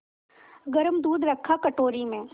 गरम दूध रखा कटोरी में